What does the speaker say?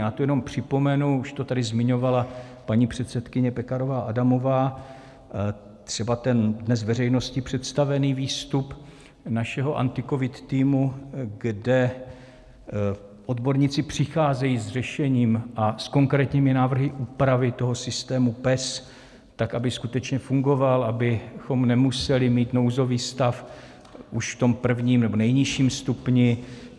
Já tu jenom připomenu, už to tady zmiňovala paní předsedkyně Pekarová Adamová, třeba ten dnes veřejnosti představený výstup našeho AntiCovid týmu, kde odborníci přicházejí s řešením a s konkrétními návrhy úpravy toho systému PES, tak aby skutečně fungoval, abychom nemuseli mít nouzový stav už v tom prvním, nebo nejnižším stupni.